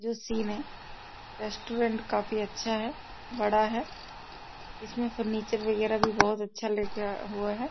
जो सीन है रेस्टोरेंट काफी अच्छा है बड़ा है इसमें फर्नीचर वगैरा भी बहुत अच्छा लगा हुआ है।